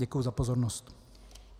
Děkuji za pozornost.